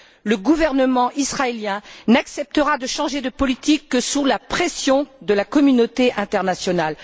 Le gouvernement israélien n'acceptera de changer de politique que sous la pression de la communauté internationale.